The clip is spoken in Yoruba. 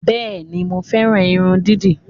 Bẹ́ẹ̀ni, mo fẹ́ran irun dídì